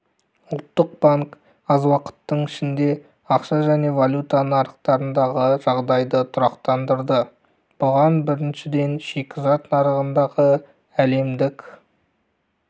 ұлттық банк аз уақыттың ішінде ақша және валюта нарықтарындағы жағдайды тұрақтандырды бұған біріншіден шикізат нарығындағы әлемдік